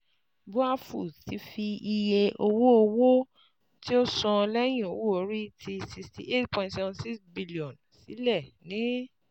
BUA Foods ti fi iye owo-owo ti o san lẹyin owo-ori ti N sixty eight point seven six bilionu silẹ ni